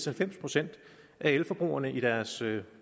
halvfems procent af elforbrugerne i deres